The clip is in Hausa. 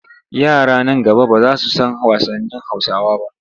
Yara nan gaba ba za su san wasannin Hausawa ba.